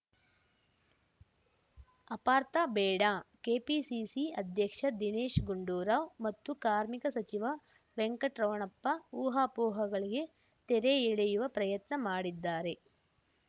ಅಪಾರ್ಥ ಬೇಡ ಕೆಪಿಸಿಸಿ ಅಧ್ಯಕ್ಷ ದಿನೇಶ್‌ ಗುಂಡೂರಾವ್‌ ಮತ್ತು ಕಾರ್ಮಿಕ ಸಚಿವ ವೆಂಕಟರಮಣಪ್ಪ ಊಹಾಪೋಹಗಳಿಗೆ ತೆರೆ ಎಳೆಯುವ ಪ್ರಯತ್ನ ಮಾಡಿದ್ದಾರೆ